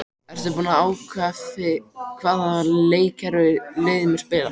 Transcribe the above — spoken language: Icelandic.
Ertu búinn að ákveða hvaða leikkerfi liðið mun spila?